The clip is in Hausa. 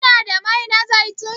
Kina da mai na zaitun?